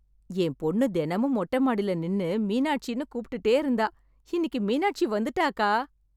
என் பொண்ணு தெனமும் மொட்டை மாடில நின்னு மீனாட்சீன்னு கூப்ட்டுட்டே இருந்தா... இன்னிக்கு மீனாட்சி வந்துட்டாக்கா.